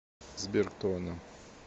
сбер кто она